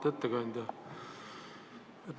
Auväärt ettekandja!